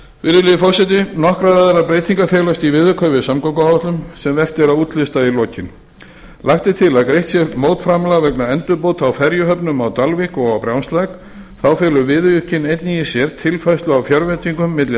virðulegi forseti nokkrar aðrar breytingar felast í viðauka við samgönguáætlun sem vert að útlista í lokin lagt er til að greitt sé mótframlag vegna endurbóta á ferjuhöfnum á dalvík og á brjánslæk þá felur viðaukinn einnig í sér tilfærslu á fjárveitingum milli